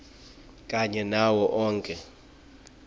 kanye nawo onkhe